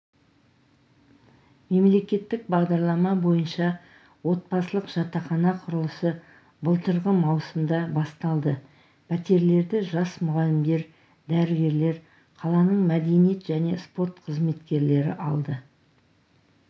мемлекеттік бағдарлама бойынша отбасылық жатақхана құрылысы былтырғы маусымда басталды пәтерлерді жас мұғалімдер дәрігерлер қаланың мәдениет және спорт қызметкерлері алды